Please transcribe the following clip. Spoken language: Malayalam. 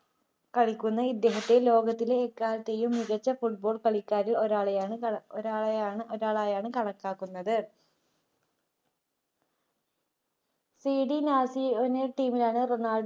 കളിക്കുന്ന ഇദ്ദേഹത്തെ ലോകത്തിലെ എക്കാലത്തെയും മികച്ച football കളിക്കാരിൽ ഒരാളെയാ ഒരാളെയാണ് ഒരാളായാണ് കണക്കാക്കുന്നത് TD നാസിയോ എന്ന team ലാണ് റൊണാൾഡോ